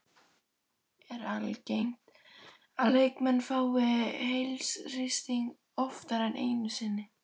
Er algengt að leikmenn fái heilahristing oftar en einu sinni?